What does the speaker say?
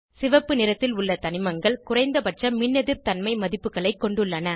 சிவப்பு நிறத்தில் உள்ள தனிமங்கள் குறைந்தபட்ச மின்னெதிர்தன்மை மதிப்புகளை கொண்டுள்ளன